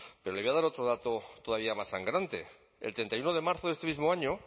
pero le voy a dar otro dato todavía más sangrante el treinta y uno de marzo de este mismo año